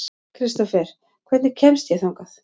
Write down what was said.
Kristófer, hvernig kemst ég þangað?